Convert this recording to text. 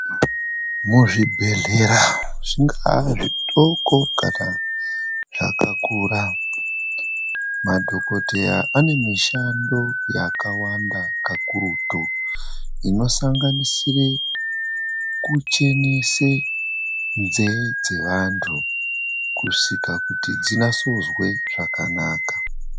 Muzvibhedhlera zvingava zvitoko kana zvakakura madhokoteya ane mishando yakawanda kakurutu inosanganisira kuchenese nzeve dzevantu kusvika kuti dzinasoozwe zvakanaka.